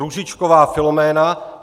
Růžičková Filoména